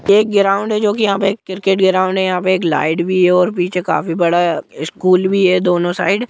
ये एक ग्राउंड है जो की यहा पे क्रिकेट ग्राउंड है एक लाईट भी है और पीछे काफी बड़ा स्कुल भी है दोनों साइड--